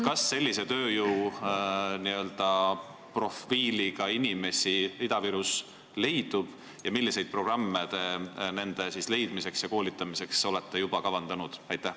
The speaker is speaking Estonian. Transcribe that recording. Kas sellise tööjõuprofiiliga inimesi Ida-Virus leidub ning milliseid programme te nende leidmiseks ja koolitamiseks olete juba kavandanud?